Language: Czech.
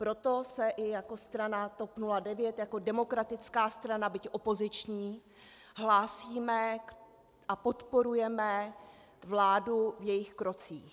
Proto se i jako strana TOP 09, jako demokratická strana, byť opoziční, hlásíme a podporujeme vládu v jejích krocích.